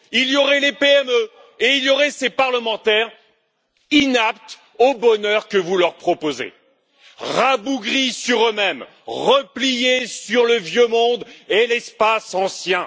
Il y aurait les PME et il y aurait ces parlementaires inaptes au bonheur que vous leur proposez, rabougris sur eux mêmes, repliés sur le vieux monde et l'espace ancien.